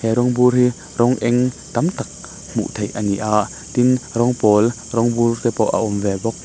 he rawng bur hi rawng eng tam tak hmuh theih a ni a tin rawng pawl rawng bur te pawh a awm ve bawk.